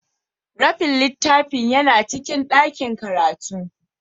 Rafin littafin yana cikin dakin karatu.